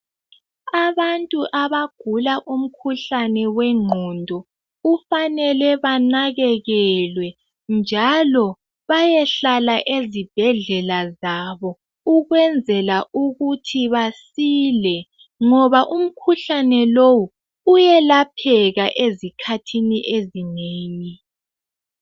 Abantu abagula umkhuhlane wengqondo kufanele benakekelwe njalo bayehlala ezibhedlela zabo ukwenzela ukuthi basile ngoba umkhuhlane lowu uyelapheka ezikhathini ezinengi.